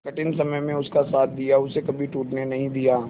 कठिन समय में उसका साथ दिया उसे कभी टूटने नहीं दिया